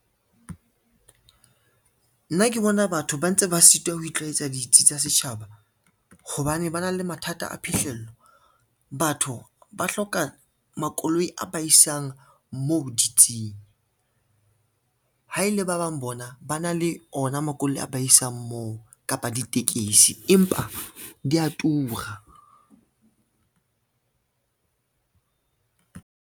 Nna ke bona batho ba ntse ba sitwa ho itlwaetsa ditsi tsa setjhaba, hobane ba na le mathata a phihlello. Batho ba hloka makoloi a ba isang moo di tse ding, ha ele ba bang bona ba na le ona makoloi a ba isang moo kapa ditekesi empa di a tura.